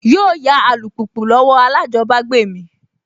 Yóò yá alùpùpù lọ́wọ́ alájọbágbé mi